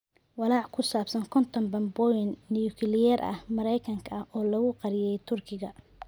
Walaaca ku saabsan konton bambaanooyin nukliyeer ah oo Mareykanka ah oo lagu qariyay Turkiga